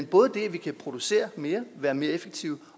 både kan producere mere være mere effektive